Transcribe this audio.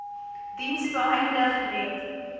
diens beëindig net